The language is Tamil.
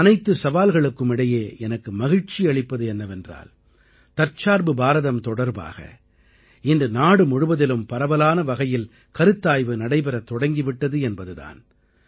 அனைத்து சவால்களுக்கும் இடையே எனக்கு மகிழ்ச்சி அளிப்பது என்னவென்றால் தற்சார்பு பாரதம் தொடர்பாக இன்று நாடு முழுவதிலும் பரவலான வகையில் கருத்தாய்வு நடைபெறத் தொடங்கி விட்டது என்பது தான்